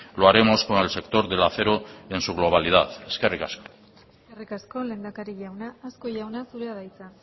lo haremos con el sector del acero en su globalidad eskerrik asko eskerrik asko lehendakari jauna azkue jauna zurea da hitza